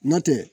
N'o tɛ